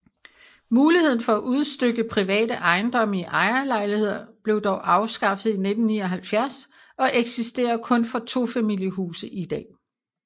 Muligheden for udstykke private ejendomme i ejerlejligheder blev dog afskaffet i 1979 og eksisterer kun for tofamiliehuse i dag